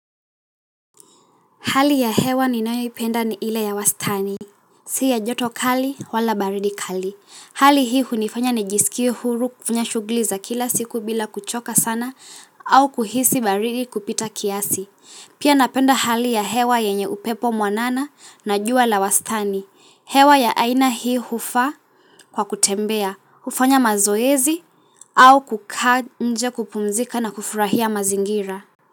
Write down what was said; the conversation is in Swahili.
Hali ya hewa ninayo ipenda ni ile ya wastani, siya joto kali wala baridi kali. Hali hii hunifanya nijisikie huru kufanya shugli za kila siku bila kuchoka sana au kuhisi baridi kupita kiasi. Pia napenda hali ya hewa yenye upepo mwanana na jua la wastani. Hewa ya aina hii hufaa kwa kutembea, hufanya mazoezi au kukaa nje kupumzika na kufurahia mazingira.